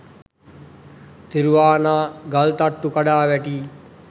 තිරුවානා ගල්තට්ටු කඩා වැටී